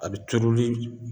A bi turuli